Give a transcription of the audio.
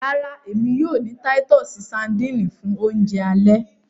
Rárá, èmi yóò ni titus sardines fun Ounjẹ ale